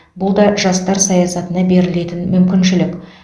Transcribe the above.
бұл да жастар саясатына берілетін мүмкіншілік